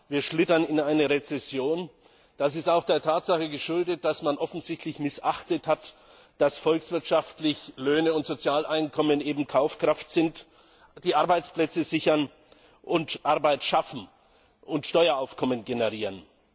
Wir schlittern in eine Rezession, das ist auch der Tatsache geschuldet, dass man offensichtlich missachtet hat, dass volkswirtschaftlich gesehen Löhne und Sozialeinkommen eben Kaufkraft sind, die Arbeitsplätze sichern und Arbeit schaffen und Steueraufkommen generieren.